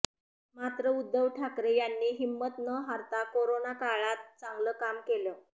मात्र उध्दव ठाकरे यांनी हिंमत न हारता कोरोनाकाळात चांगलं काम केलं